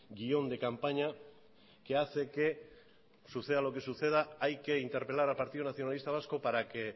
guión de campaña que hace que suceda lo que suceda hay que interpelar al partido nacionalista vasco para que